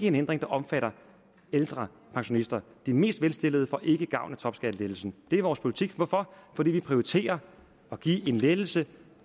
en ændring der omfatter ældre pensionister de mest velstillede får ikke gavn af topskattelettelsen det er vores politik hvorfor fordi vi prioriterer at give en lettelse